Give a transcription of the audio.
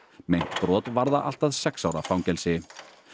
meint brot varða allt að sex ára fangelsi